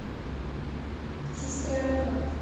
сестренка